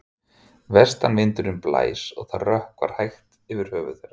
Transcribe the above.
Vestanvindurinn blæs og það rökkvar hægt yfir höfði þeirra.